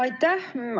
Aitäh!